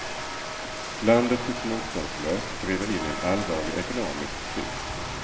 Landet tycks motståndslöst driva in i en allvarlig ekonomisk kris.